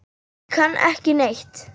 Ég kann ekki neitt.